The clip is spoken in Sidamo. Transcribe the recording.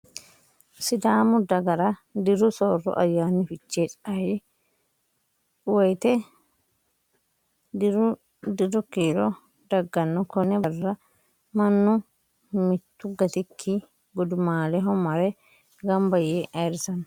Sidaamu dagara diru soorro ayyaani fichee ayee woyiiteno diru kiiro dagganno. Konne Barra mannu mittu gattikki gudumaaleho mare gamba yee ayiirrisanno.